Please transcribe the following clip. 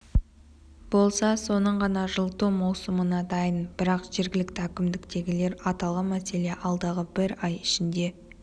болса соның ғана жылыту маусымына дайын бірақ жергілікті әкімдіктегілер аталған мәселе алдағы бір ай ішінде